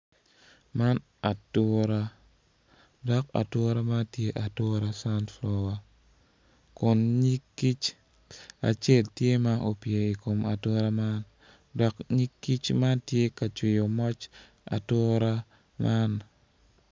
Man ature dok ature man tye ature canfulowa kun nyig kic acel tye opye i kom atura man.